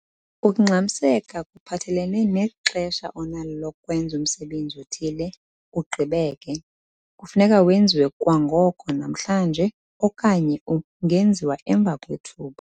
Ukungxamiseka kuphathelene nexesha onalo lokwenza umsebenzi othile ugqibeke - kufuneka wenziwe kwangoko - namhlanje okanye ungenziwa emva kwethuba.